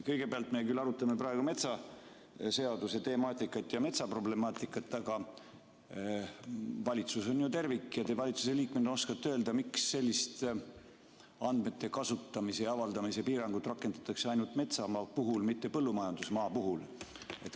Kõigepealt me küll arutame praegu metsaseaduse temaatikat ja metsaproblemaatikat, aga valitsus on ju tervik ja te valitsuse liikmena oskate öelda, miks sellist andmete kasutamise ja avaldamise piirangut rakendatakse ainult metsamaa puhul, mitte põllumajandusmaa puhul.